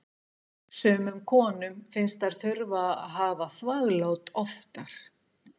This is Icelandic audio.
Sumum konum finnst þær þurfa að hafa þvaglát oftar.